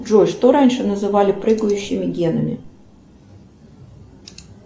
джой что раньше называли прыгающими генами